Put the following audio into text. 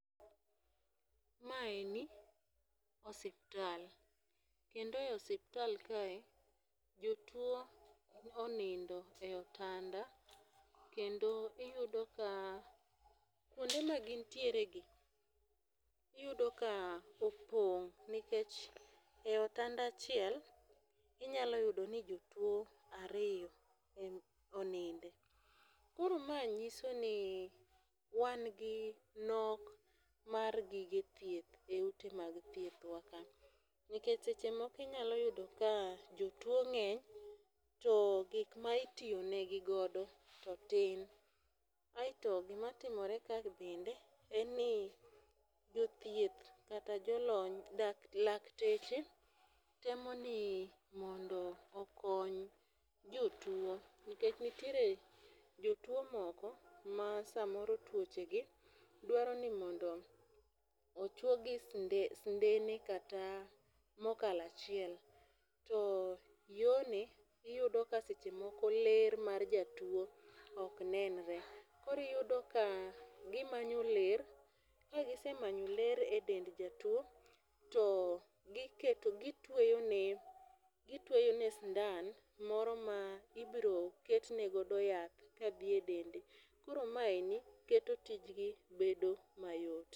Maeni, osiptal, kendo e osiptal kae, jotuo onindo e otanda kendo iyudo ka, kwonde ma gintieregi , iyudo ka opong' nikech e otanda achiel, inyalo yudo ni jotuo ariypo oninde. Koro mae nyiso ni wan gi nok mag gige thieth e ute mag thiethwa ka. Nikech seche moko inyalo yudo ka jotuo ng'eny, to gik ma itiyonegigodo to tin. Aito gima timore ka bende, en ni jothieth kata jolony, lakteche temo ni mondo okony jotuo nikech nitiere jotuo moko, ma samoro tuochegi dwaro ni mondo ochwogi sindene kata mokalo achiel . To yoni, iyudo ka seche moko ler mar jatuo ok nenre. Koro iyudo ka gimanyo ler, ka gisemanyo ler e dend jatuo, to gitweyone, gitweyone sindan moro ma ibiro ketne godo yath kadhi e dende. Koro maeni , keto tijgi bedo mayot.